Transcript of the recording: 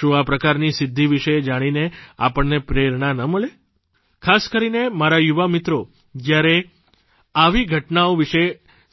શું આ પ્રકારની સિદ્ધિ વિશે જાણીને આપણને પ્રેરણા ન મળે ખાસ કરીને મારા યુવા મિત્રો જ્યારે આવી ઘટનાઓ વિશે